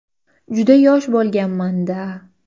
Juda yosh bo‘lganman-da.